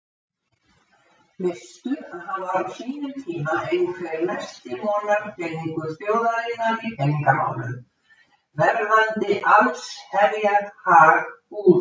Veistu að hann var á sínum tíma einhver mesti vonarpeningur þjóðarinnar í peningamálum, verðandi allsherjar-hag-gúrú.